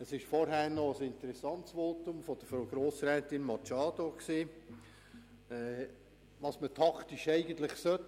Vorher haben wir ein interessantes Votum von Frau Grossrätin Machado gehört zu der Frage, was man eigentlich aus taktischen Gründen tun sollte.